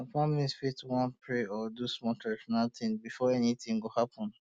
um some families fit wan um pray or do small traditional thing before anything go happen